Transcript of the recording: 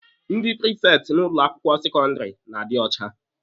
Ndị prifekti n'ụlọ akwụkwọ sekọndịrị na-adị ọcha.